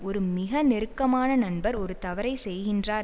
ஒரு மிக நெருக்கமான நண்பர் ஒரு தவறைச் செய்கின்றார்